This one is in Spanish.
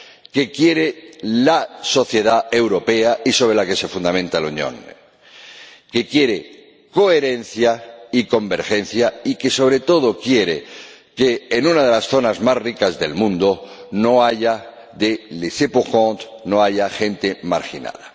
que quiere la sociedad europea y sobre la que se fundamenta la Unión, que quiere coherencia y convergencia y que, sobre todo, quiere que, en una de las zonas más ricas del mundo, no haya des laissés pour compte no haya gente marginada.